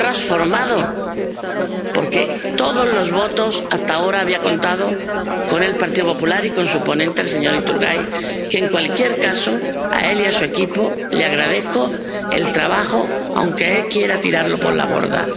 Se ha trasformado, porque todos los votos hasta ahora habían contado con el Grupo PPE y con su ponente, el señor Iturgaiz, al que, en cualquier caso ―a él y a su equipo―, agradezco su trabajo, aunque él quiera tirarlo por la borda.